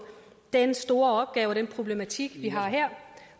den store opgave den problematik vi har her